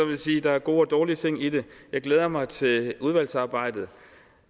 jeg sige at der er gode og dårlige ting i det jeg glæder mig til udvalgsarbejdet